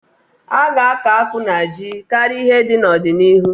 A ga-akọ akpụ na ji karịa ihe ndị n'ọdịnihu.